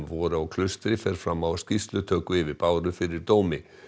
voru á Klaustri fer fram á skýrslutöku yfir Báru fyrir dómi